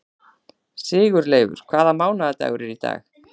Sigurleifur, hvaða mánaðardagur er í dag?